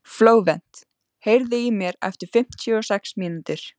Flóvent, heyrðu í mér eftir fimmtíu og sex mínútur.